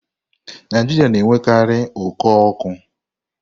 Naijiria na-enwekarị oku ọkụ.